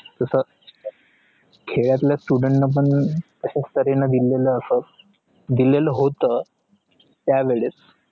तस खेडताळ students ला पण असा दिलेले होत त्यावेळेस